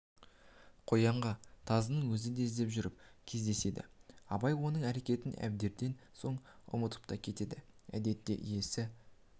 қоянға тазының өзі іздеп жүріп кездеседі абай оның әрекетін әрберден соң ұмытып та кетеді әдетте иесі